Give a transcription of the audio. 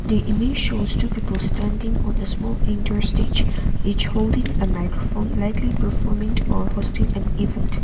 the image shows two people standing on the small inter stage each holding a microphone likely performing or hosting an event.